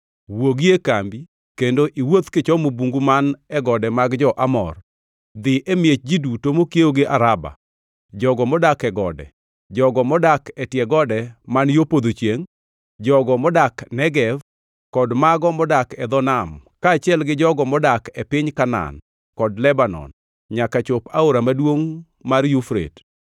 Wuogi e kambi kendo iwuoth kichomo bungu man e gode mag jo-Amor, dhi e miech ji duto mokiewo gi Araba, jogo modak e gode, jogo modak e tie gode man yo podho chiengʼ, jogo modak Negev kod mago modak e dho nam, kaachiel gi jogo modak e piny Kanaan kod Lebanon, nyaka chop e aora maduongʼ mar Yufrate.